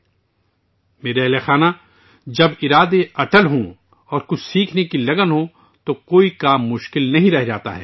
میرے پیارے اہلِ خانہ، جب ارادے پختہ ہوتے ہیں اور کچھ سیکھنے کا جذبہ ہوتا ہے، تو کوئی بھی کام مشکل نہیں رہتا